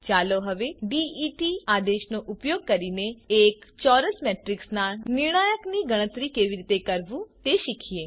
ચાલો હવે ડેટ આદેશનો ઉપયોગ કરીને એક ચોરસ મેટ્રિક્સના નિર્ણાયકની ગણતરી કેવી રીતે કરવું તે શીખીએ